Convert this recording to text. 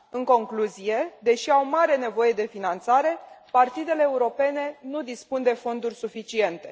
În concluzie, deși au mare nevoie de finanțare, partidele europene nu dispun de fonduri suficiente.